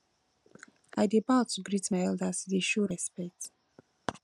i dey bow to greet my elders e dey show respect